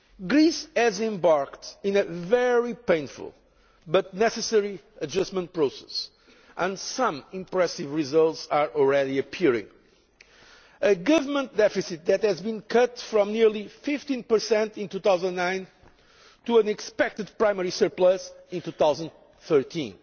Greece has embarked on a very painful, but necessary, adjustment process, and some impressive results are already appearing a government deficit that has been cut from nearly 15 in 2009 to an expected primary surplus in 2013